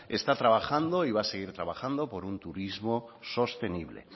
está trabajando y va a seguir trabajando por un turismo sostenible